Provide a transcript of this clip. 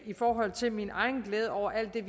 i forhold til min egen glæde over alt det